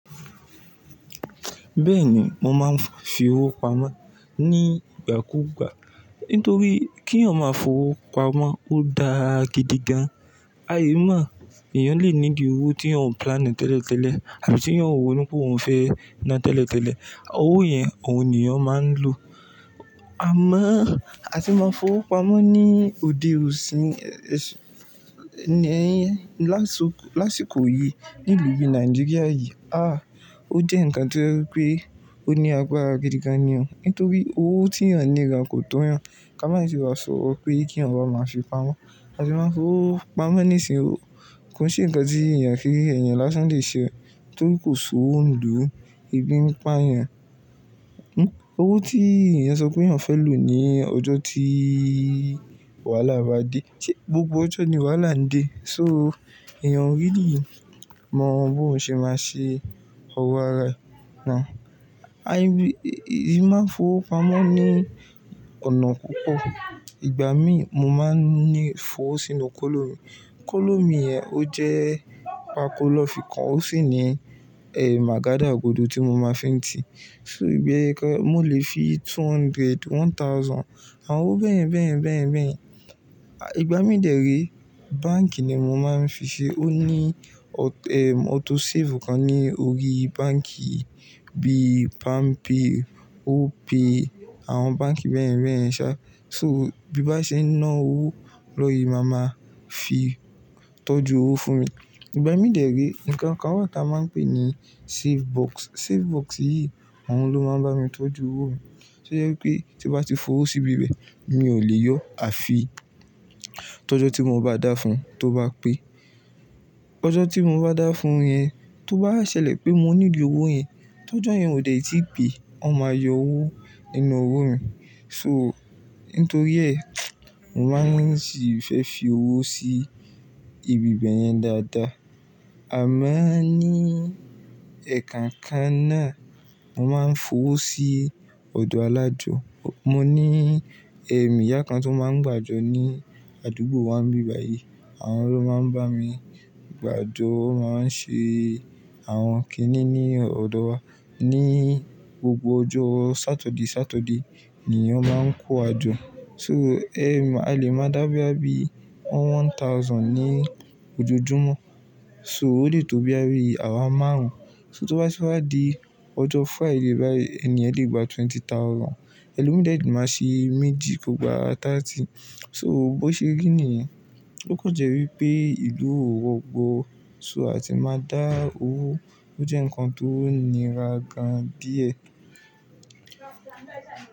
Bẹ́ẹ̀ni, mo máa ń fi owó pamọ́ ní ìgbà kú ìgbà nítorí kí èèyàn máa fo owó pamọ́ ó da agídí gan. A lè mọ̀ èèyàn lè ní di owó tí à ń planni tẹ́lẹ̀ tẹ́lẹ̀ àbí tí èèyàn ò ro ní pé òun fẹ́ ná tẹ́lẹ̀ tẹ́lẹ̀. Owó yẹn òun nìyẹn máa ń lò. Àmọ́ a ti máa ń fowó pamọ́ ní òde osì, ní ẹyẹ́n lásokò, lásìkò yìí nílùú ìlu Nàìjíríà yìí. À, ó jẹ́ ǹkan tó rẹwé pé ó ní agbara gídígan ni o, nítorí owó tí èèyàn ní gan kò tó yàn. Ká má sì wá sọ pé kí èèyàn máa máa fi pamọ́. A ti máa ń fowó pamọ́ nísinsìnyí kò ṣe ǹkan tí èèyàn fi ẹ̀yàn lásán le ṣe torí kò sowo nlu ebi ń pa èèyàn. Hmm, owó tí èèyàn sọ pé èèyàn fẹ́ lò ní ọjọ́ tí wàhálà bá dé, ṣé gbogbo ọjọ́ ni wàhálà ń dé? So èèyàn o ríli mọ bó n ṣe máa ṣe oró ara ẹ. Na, a lè, èèyàn máa ń fowó pamọ́ ní ọ̀nà púpọ̀. Ìgbà mí mo máa ń ní f'owó sínú kolo mi. Kolo mi yẹn ó jẹ́ pako lo fi kan ó sì ní, eh, màgádà gbodo tí mo máa ń fi ń tì. So bi kan mó lè fi two hundred, one thousand àwọn owó bẹ́ẹ̀ bẹ́ẹ̀ bẹ́ẹ̀ bẹ́ẹ̀. À ìgbà mí dèré báǹkì ni mo máa ń fi ṣe ó ní ọ, eh, auto save kan ní orí báǹkì bíi PalmPay, OPay àwọn báǹkì bẹ́ẹ̀ bẹ́ẹ̀ sá. So bí bá ṣe ná owó lọ yìí màá máa fi tọ́jú owó fún mi. Ìgbà mí dèré ǹkan kan wà tí a máa ń pè ní safe box. Safe box yìí àwọn ló máa ń bá mi tọ́jú owó mi. To jẹ pé tí mo bá ti fowó síbi bẹ mi ò lè yọ àfi tọ́jọ́ tí mo bá dá fún tó bá pé. Tọ́jọ́ tí mo bá dá fún yẹn tó bá ṣẹlẹ̀ pé mo nílò owó yẹn, tọ́jọ́ yẹn ò lè tí pè, wọ́n máa yọ owó nínú owó mi. So nítorí ẹ, mo máa ń sì fẹ́ fi owó sí ibi bẹ́ẹ̀ yẹn dáadáa. Àmọ́ ní ẹ̀ẹ̀kan kan náà mo máa ń fowó sí ọ̀dọ̀ alájọ. Mo ní, eh, ìyá kan tó máa ń gbà jọ ní àdúgbò wa níbẹ̀ yìí. Àwọn ló máa ń bá mi gbà jọ, wọ́n máa ń ṣe àwọn kiní ní ọ̀dọ̀ wa. Ní gbogbo ọjọ́ Sátọ̀deí Sátọ̀deí ni ó máa ń kó àjọ. So, eh, a lè máa dá bí i àbí one thousand ní ojojúmọ́. So ó lè tó bí i àárọ̀ márùn-ún. So tó bá ti wá di ọjọ́ Friday báyìí ẹni ẹ lè gba twenty thousand. Ẹ̀lomí dẹ̀ le máa ṣe méjì kó gba táàtì. So bó ṣe rí nìyẹn ó kàn jẹ́ wípé ìlú ò rogbọ̀. So a ti máa dá owó ó jẹ́ ǹkan tó nira gan díẹ̀.